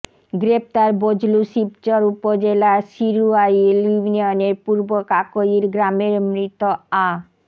গ্রেপ্তার বজলু শিবচর উপজেলার শিরুয়াইল ইউনিয়নের পূর্ব কাকইর গ্রামের মৃত আ